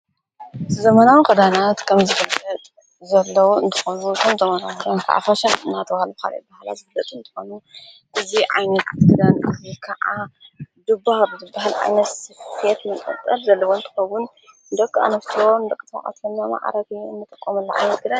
ዘመናን ክዳናት ከምዝበት ዘለዉ እንትኾኑ ኽምተመናቶም ተዕፈሸን ናጡዋል ዃል በሃላ ዘብለጥ እንተኾኑ እዙ ዓይንትትደንእኒ ከዓ ድብ ኣብ ትብሕልዓነ ስፍት ምቀጠር ዘልወንቲኸዉን ደቂ ኣንፍቲወሩን በቕቶዉዓተና መዓረግ እምተቆምኣላዓይንግለን::